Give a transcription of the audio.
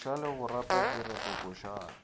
dikoša le go reta diretokošana